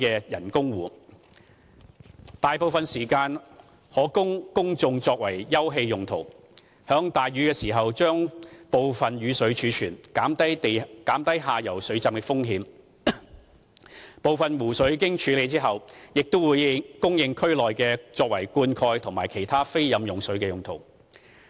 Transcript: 該人工湖大部分時間可供公眾作為休憩用途，在大雨時將部分雨水儲存，減低下游水浸的風險，而部分湖水經處理後，會供區內作灌溉及其他非飲用用途。